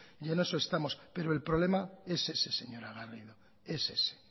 y en eso estamos pero el problema es ese señora garrido es ese